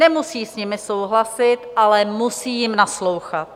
Nemusí s nimi souhlasit, ale musí jim naslouchat.